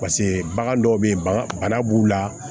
pase bagan dɔw be yen bana b'u la